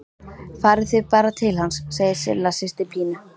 Farið þið bara til hans, segir Silla systir Pínu.